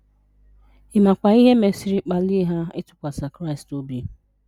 Ị makwa ihe mesịrị kpalie ha ịtụkwasị Kraịst obi?